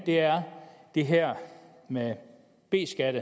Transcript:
er det her med b skat